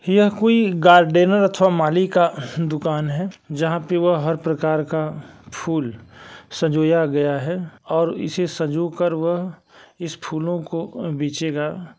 यह कोई गार्डनर अथवा माली का दुकान है जहाँ पर वह हर प्रकार का फूल सजोया गया है और इसे सज़ो कर व इस फूलो को बेचेगा --